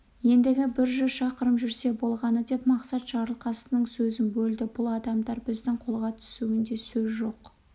енді бір жүз шақырым жүрсе болғаны деп мақсат жарылқасынның сөзін бөлді бұл адамдар біздің қолға түсуінде сөз жоқ